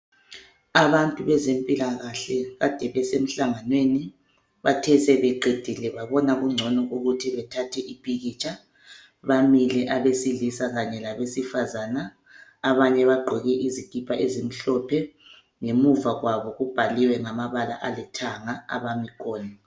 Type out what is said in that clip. Abantu bezempilakahle ade besemhlangamweni. Bathe sebeqedile babona kungcono ukuthi bethathe impikitsha bamile abesilisa Kanye labesifazana abanye bagqoke izikipa ezimhlophe ngemuva kwabo kubhaliwe ngamabala alithanga abamikhona.